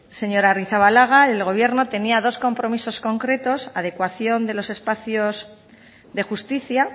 señora arrizabalaga el gobierno tenía dos compromisos concretos adecuación de los espacios de justicia